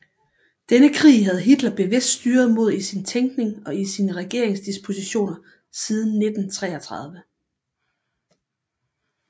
Denne krig havde Hitler bevidst styret mod i sin tænkning og i sine regeringsdispositioner siden 1933